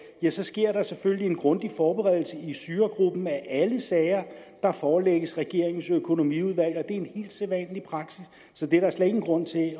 sker der selvfølgelig en grundig forberedelse i styregruppen af alle sager der forelægges regeringens økonomiudvalg det er en helt sædvanlig praksis så det er der slet ingen grund til at